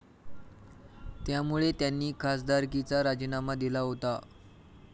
त्यामुळे त्यांनी खासदारकीचा राजीनामा दिला होता.